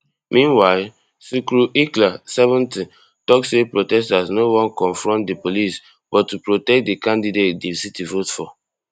meanwhile sukru ilker seventy tok say protesters no wan confront di police but to protect di candidate di city vote for